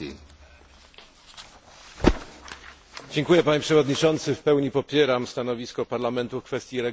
W pełni popieram stanowisko Parlamentu w kwestii regionów górskich, wysp i obszarów słabo zaludnionych.